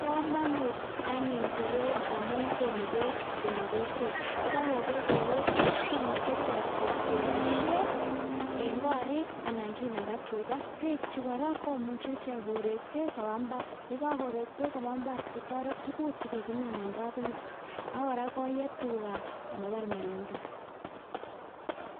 Bokomonut anyun koroi amun konu beek konyo kokwet, yekokoko beek kobwa kokwet kimuche ichek keboishen en korik anan kinaka tukaa, bechuu kora komuche ichek koree beek kobaa mbar, yekokoree beek kobaa mbar kotoret tukuk chekikimin en kabungui ak kora koyee tukaa sikomabar melelda.